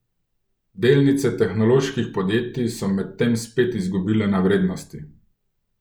Delnice tehnoloških podjetij so medtem spet izgubile na vrednosti.